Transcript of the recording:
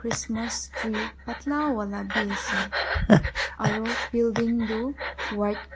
christmas tree patla wala bhi ase aru building tu white co--